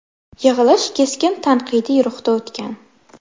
Yig‘ilish keskin tanqidiy ruhda o‘tgan.